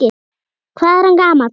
Hvað er hann gamall?